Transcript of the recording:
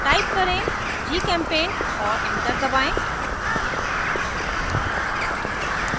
type करें gchempaint और enter दबाएं